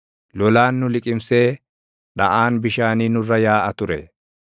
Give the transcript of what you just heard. lolaan nu liqimsee dhaʼaan bishaanii nurra yaaʼa ture;